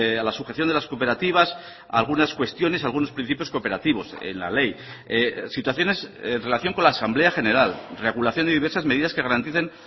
a la sujeción de las cooperativas algunas cuestiones algunos principios cooperativos en la ley situaciones en relación con la asamblea general regulación de diversas medidas que garanticen